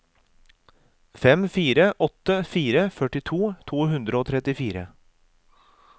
fem fire åtte fire førtito to hundre og trettifire